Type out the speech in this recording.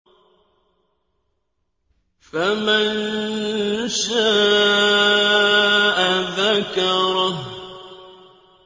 فَمَن شَاءَ ذَكَرَهُ